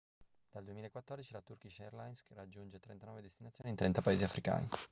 dal 2014 la turkish airlines raggiunge 39 destinazioni in 30 paesi africani